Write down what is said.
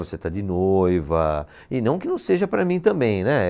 Você está de noiva, e não que não seja para mim também, né.